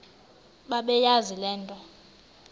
bebeyazi le nto